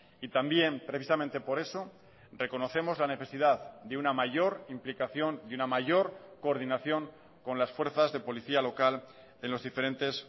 y también precisamente por eso reconocemos la necesidad de una mayor implicación y una mayor coordinación con las fuerzas de policía local en los diferentes